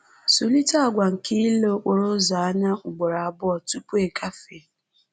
Zụlite àgwà nke ile okporo ụzọ anya ugboro abụọ tupu ị gafee